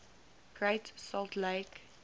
great salt lake